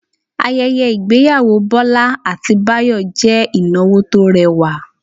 Ayẹyẹ ìgbéyàwó Bọ́lá àti Báyọ̀ jẹ́ ìnáwó tó rẹwà